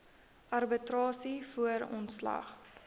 arbitrasie voor ontslag